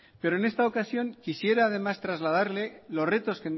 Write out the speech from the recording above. pero en esta ocasión quisiera además trasladarle los retos